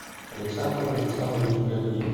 александр александрович ганиев